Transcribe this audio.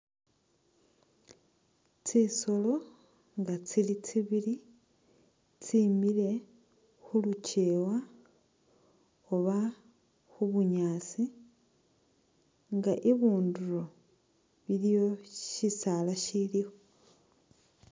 Tsisoolo nga tsili tsibili tsimile khu lukyewa oba khu bunyaasi nga ibunduro iliwo shisaala shiliwo